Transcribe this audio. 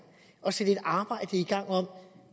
at sætte et arbejde i gang om